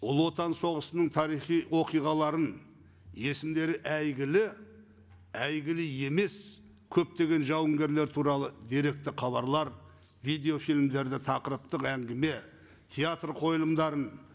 ұлы отан соғысының тарихи оқиғаларын есімдері әйгілі әйгілі емес көптеген жауынгерлер туралы деректі хабарлар видеофильмдерді тақырыптық әңгіме театр қойылымдарын